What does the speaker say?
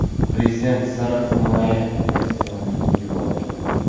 Prezident sariq himoya kostyumi kiyib oldi.